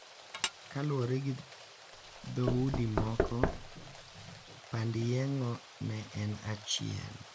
Kaluwore gi dhoudi moko, pand yeng`o ne en achiel.